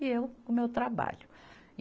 E eu, com meu trabalho. e